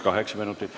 Kaheksa minutit.